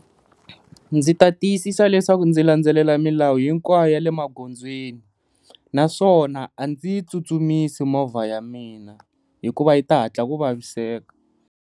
Ndzi ta tiyisisa leswaku ndzi landzelela milawu hinkwayo ya le magondzweni, naswona a ndzi yi tsutsumisa movha ya mina hikuva yi ta hatla ku vaviseka.